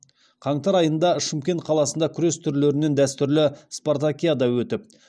қаңтар айында шымкент қаласында күрес түрлерінен дәстүрлі спартакиада өтіп